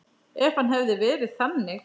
Ef hann hefði verið þannig.